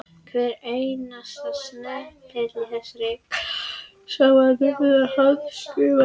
Hver einasti snepill í þessum kassa var nefnilega handskrifaður.